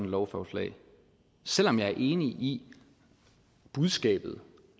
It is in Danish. lovforslag selv om jeg er enig i budskabet